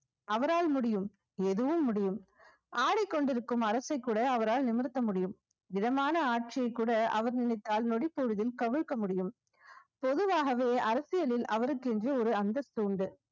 அவரால் முடியும் எதுவும் முடியும் ஆடிக்கொண்டிருக்கும் அரசை கூட அவரால் நிமிர்த்த முடியும் மிதமான ஆட்சியைக் கூட அவர் நினைத்தால் நொடிப்பொழுதில் கவிழ்க்க முடியும் பொதுவாகவே அரசியலில் அவருக்கென்று ஒரு அந்தஸ்து உண்டு